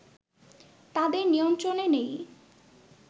তাদের নিয়ন্ত্রনে নেই